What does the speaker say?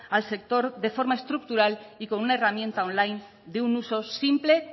al sector de forma estructural y con una herramienta online de un uso simple